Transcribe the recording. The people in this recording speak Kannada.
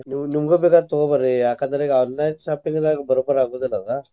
ನೀವು ನಿಮ್ಗು ಬೇಕಾರ ತೊಗೊ ಬರ್ರಿ ಯಾಕ್ ಅಂದ್ರ ಈಗ online shopping ದಾಗ ಬರೋಬರ್ ಆಗುದಿಲ್ಲ ಅದ.